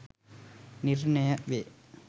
නිර්ණය වේ.